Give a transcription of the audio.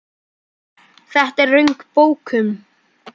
Þetta er röng bókun.